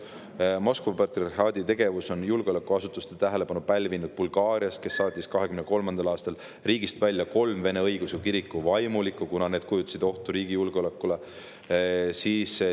Moskva patriarhaadi tegevus on julgeolekuasutuste tähelepanu pälvinud Bulgaarias, kes saatis 2023. aastal riigist välja kolm Vene õigeusu kiriku vaimulikku, kuna need kujutasid ohtu riigi julgeolekule.